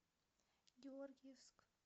георгиевск